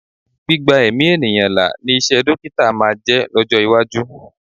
Gbígba ẹ̀mí ènìyàn là ni iṣẹ́ dọ́kítà máa máa jẹ́ lọ́jọ́ iwájú.